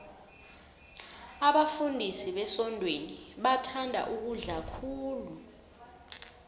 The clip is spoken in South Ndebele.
abafundisi besontweni bathanda ukudla khulu